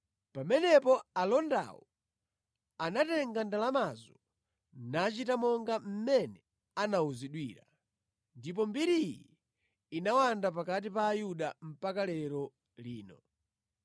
Pamenepo alondawo anatenga ndalamazo nachita monga mmene anawuzidwira. Ndipo mbiri iyi inawanda pakati pa Ayuda mpaka lero lino.